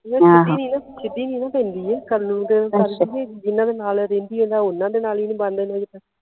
ਯਾਰ ਸਿੱਧੀ ਨਹੀਂ ਨਾ ਸਿੱਧੀ ਨਹੀਂ ਨਾ ਪੈਂਦੀ ਇਹ ਕਰਨ ਨੂੰ ਤਾ ਕਰਦੀ ਏ ਜਿਨ੍ਹਾਂ ਦੇ ਨਾਲ ਰਹਿੰਦੀ ਇਹਦਾ ਓਹਨਾ ਦੇ ਨਾਲ ਈ ਨਹੀਂ